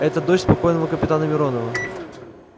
это дочь спокойного капитана миронова